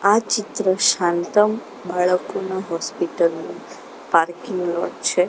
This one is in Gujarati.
આ ચિત્ર શાંતમ બાળકોના હોસ્પિટલ ની પાર્કિંગ નો છે.